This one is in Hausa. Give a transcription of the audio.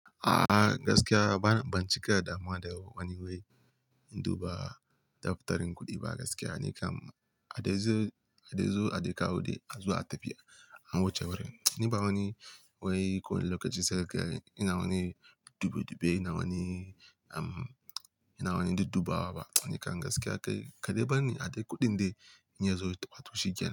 A'a gaskiya ba, ban cika damuwa da wani wai, indu ba, daftarin kuɗi ba gaskiya. Ni kam a dai zo, a dai kawo dai, a zo a tafi, an wuce wurin. Ni ba wani wai ko wani lokaci sai kaga, ina wani dube dube, ina wani em, ina wani duddubawa ba. Ni kam gaskiya kai, kaɗai barni, a dai kuɗin dai, in yazo a to shi kenan.